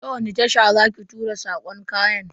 Ta wani tasha za ki tura sakon kayan?